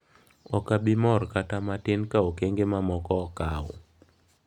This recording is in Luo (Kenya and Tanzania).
Ok abi mor kata matin ka okenge mamoko okaw."